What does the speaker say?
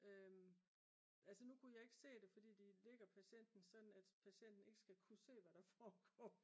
altså nu kunne jeg ikke se det fordi de lægger patienten sådan at patienten ikke skal kunne se hvad der foregår